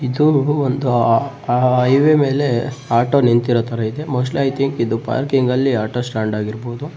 ಇದು ಒಂದು ಹೈವೆ ಮೇಲೆ ಆಟೊ ನಿಂತಿರೊ ತರ ಇದೆ ಮೋಸ್ಟ್ಲಿ ಐ ತಿಂಕ್ ಇದು ಪಾರ್ಕಿಂಗಲ್ಲಿ ಆಟೊ ಸ್ಟ್ಯಾಂಡ್ ಆಗಿರ್ಬಹುದು.